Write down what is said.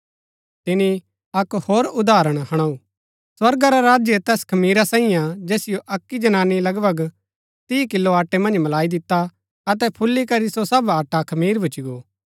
तिनी अक्क होर उदाहरण हुणाऊ स्वर्गा रा राज्य तैस खमीरा साईये हा जैसिओ अक्की जनानी लगभग तीह किलो आटै मन्ज मलाई दिता अतै फूली करी सो सब आटा खमीर भूच्ची गो